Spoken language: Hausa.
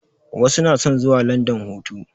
Wasu na son zuwa landan hutu